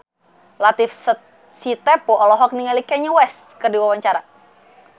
Latief Sitepu olohok ningali Kanye West keur diwawancara